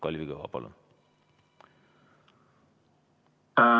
Kalvi Kõva, palun!